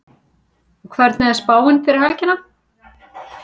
Sigríður Elva Vilhjálmsdóttir: Og hvernig er spáin fyrir helgina?